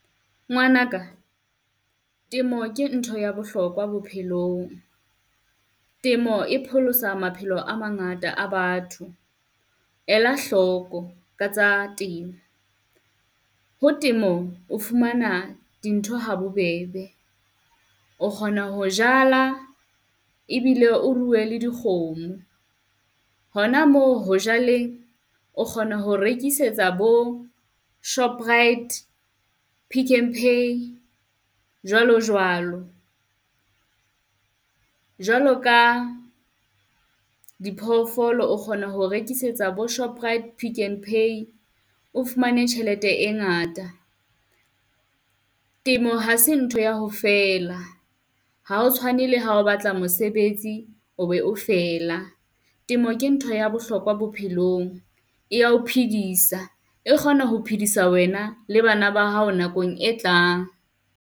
Ngwana ka temo ke ntho ya bohlokwa bophelong. Temo e pholosa maphelo a mangata a batho. Ela hloko katsa temo, ho temo o fumana dintho habobebe, o kgona ho jala e bile o ruwe le dikgomo. Hona moo ho jaleng, o kgona ho rekisetsa bo Shoprite, Pick n Pay jwalo jwalo. Jwalo ka diphoofolo o kgona ho rekisetsa bo Shoprite, Pick n Pay o fumane tjhelete e ngata. Temo ha se ntho ya ho fela, ha ho tshwane le ha o batla mosebetsi o be o fela. Temo ke ntho ya bohlokwa bophelong. E ya ho phedisa, e kgona ho phedisa wena le bana ba hao nakong e tlang.